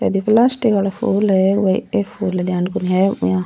ये प्लास्टिक को फूल है फूल को ध्यान को नई--